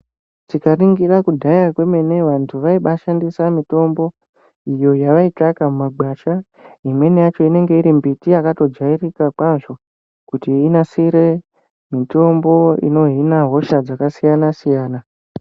Tikaningira kudhaya kwemene vantu vaibashandisa mitombo iyo yavaitsvaka mumagwasha. Imweni yacho inenge iri mbiti yakatojairika kwazvo kuti inasire mitombo inohina hosha dzakasiyana-siyana.